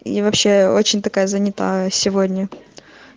и вообще очень такая занятая сегодня